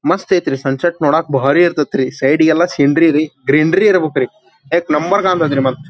ಮಸ್ತ್ ಐತ್ರಿ sunset ನೋಡಕ್ಕ ಬಾರೀ ಇರತ್ಯತ್ರಿ ಸೈಡ್ ಗೆಲ್ಲಾ ಸ್ಕಿನರಿ ರೀ ಗ್ರೀನ್ ರೀ ಇರಬೆಕ್ ರೀ ಯಾಕ್ ನಮ್ಮ ಉರ್ ಕಾಣ್ ತ್ಯತಿ ಮತ್.